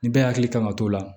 Ni bɛɛ hakili kan ka t'o la